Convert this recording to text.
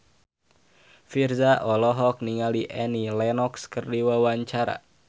Virzha olohok ningali Annie Lenox keur diwawancara